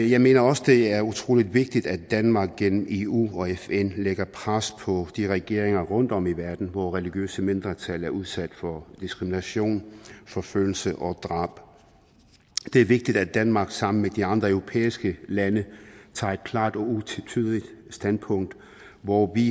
jeg mener også det er utrolig vigtigt at danmark gennem eu og fn lægger pres på de regeringer rundtom i verden hvor religiøse mindretal er udsat for diskrimination forfølgelse og drab det er vigtigt at danmark sammen med de andre europæiske lande tager et klart og utvetydigt standpunkt hvor vi